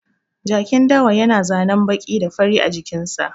Jakin dawa ya na zanen baƙi da fari a jikin sa